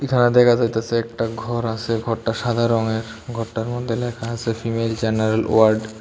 ঘর দেখা যাইতেছে একটা ঘর আসে ঘরটা সাদা রঙের ঘরটার মধ্যে লেখা আসে ফিমেল জেনারেল ওয়ার্ড ।